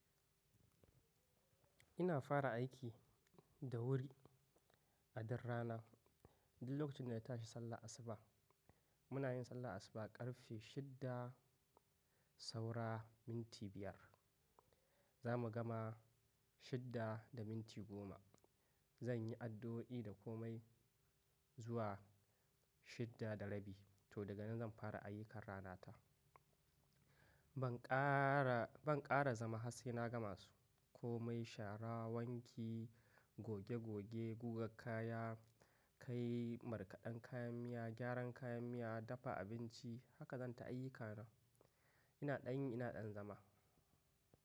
Ina fara aiki da wuri a dduk rana, duk lokacin dana tashi sallah asuba. Muna yin sallah asuba ƙarfe shida saura minti biyar. Za mu gama shida da minti goma. Zan yi addu'o'i da komai zuwa shida da rabi to daga nan zan fara ayyukan ranata. Ban ƙara, ban ƙara zama har tsai na ga masu. Komai shara, wanki, goge goge, guga kaya, kai markaɗan kayan miya, gyaran kayan miya, dafa abinci haka zan ta ayyukana. Ina ɗan yin, ina ɗan zama.